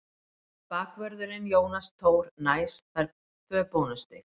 Bakvörðurinn Jónas Tór Næs fær tvö bónusstig.